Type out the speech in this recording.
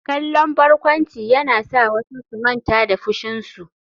Kallon barkwanci yana sa wasu su manta da fushinsu.